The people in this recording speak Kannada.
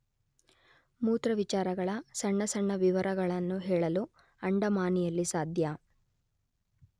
ಮೂರ್ತವಿಚಾರಗಳ ಸಣ್ಣ ಸಣ್ಣ ವಿವರಗಳನ್ನು ಹೇಳಲು ಅಂಡಮಾನಿಯಲ್ಲಿ ಸಾಧ್ಯ.